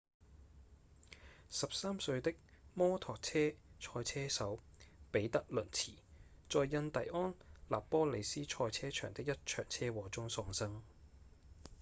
13歲的摩托車賽車手彼得·倫茨在印第安納波利斯賽車場的一場車禍中喪生